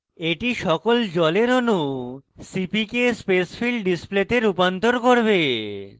এটি সকল জলের অনু cpk spacefill display তে রূপান্তর করবে